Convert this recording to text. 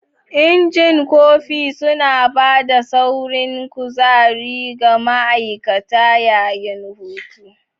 Injin kofi suna ba da saurin kuzari ga ma'aikata yayin hutu.